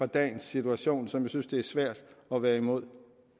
dagens situation som jeg synes det er svært at være imod